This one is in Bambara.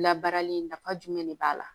Labarali nafa jumɛn de b'a la